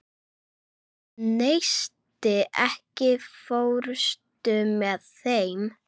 Neisti, ekki fórstu með þeim?